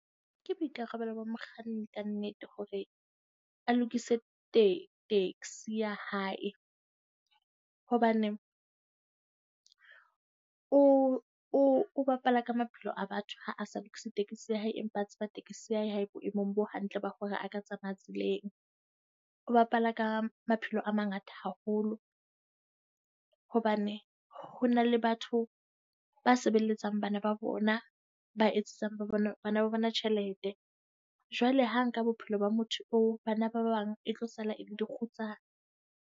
Ke boikarabelo ba mokganni ka nnete hore a lokise tekesi taxi ya hae, hobane o o bapala ka maphelo a batho ha a sa lokise taxi ya hae, empa a tseba taxi ya hae ha e boemong bo hantle ba hore a ka tsamaya tseleng. O bapala ka maphelo a mangata haholo hobane ho na le batho ba sebeletsang bana ba bona, ba etsetsang ba bona bana ba bona tjhelete. Jwale ha nka bophelo ba motho eo bana ba bang e tlo sala e le dikgutsana.